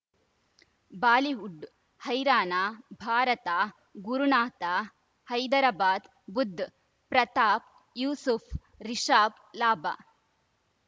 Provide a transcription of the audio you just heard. Bollywood ಹೈರಾಣ ಭಾರತ ಗುರುನಾಥ ಹೈದರಾಬಾದ್ ಬುಧ್ ಪ್ರತಾಪ್ ಯೂಸುಫ್ ರಿಷಬ್ ಲಾಭ